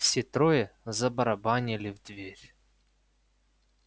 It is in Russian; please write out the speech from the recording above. все трое забарабанили в дверь